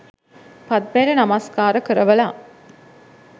පද්මයට නමස්කාර කරවලා